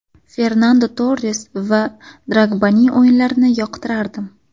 Fernando Torres va Drogbaning o‘yinlarini yoqtirardim.